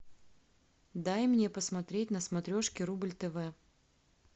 дай мне посмотреть на смотрешке рубль тв